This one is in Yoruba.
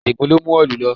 Adigun ló mú òòlù lọ